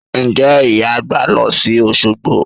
Ǹjẹ́ Ìyá àgbà máa lọ sí Òṣogbo?